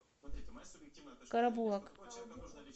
карабулак